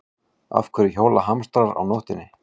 Af hverju hjóla hamstrar á nóttinni?